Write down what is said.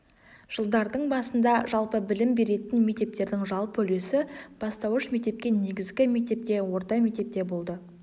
жылдардың басында жалпы білім беретін мектептердің жалпы үлесі бастауыш мектепке негізгі мектепте орта мектепте болды